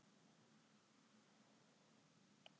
Ekki er víst að hér gildi: Fyrstir koma, fyrstir fá.